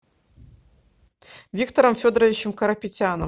виктором федоровичем карапетяном